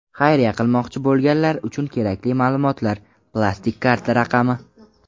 Xayriya qilmoqchi bo‘lganlar uchun kerakli ma’lumotlar: Plastik karta raqami.